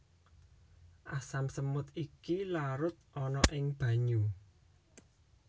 Asam semut iki larut ana ing banyu